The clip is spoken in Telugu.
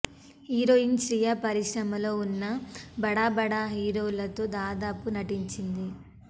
హీరోయిన్ శ్రియ పరిశ్రమలో ఉన్న బడా బడా హీరోలతో దాదాపు నటించింది